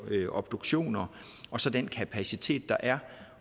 obduktioner og så den kapacitet der er